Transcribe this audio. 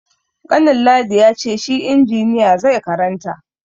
Kanin ladi ya ce shi injiniya zai karanta.